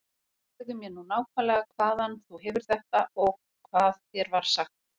Segðu mér nú nákvæmlega hvaðan þú hefur þetta og hvað þér var sagt.